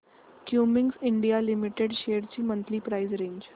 Cummins India limited shares ची monthly price range